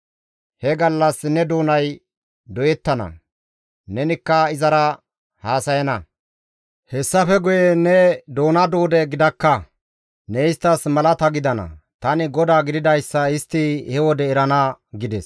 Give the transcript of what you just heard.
He gallas ne doonay doyettana; nenikka izara haasayana; hessafe guye ne doona duude gidakka; ne isttas malata gidana; tani GODAA gididayssa istti he wode erana» gides.